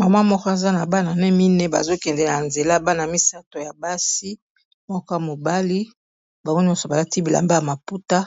Mama moko aza na bana ne mine, bazokendel ya nzela bana misato ya basi moko mobali bango nyonso balati bilamba ya maputa